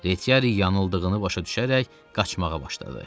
Retiari yanıldığını başa düşərək qaçmağa başladı.